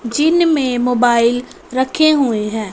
जिनमे मोबाइल रखे हुए हैं।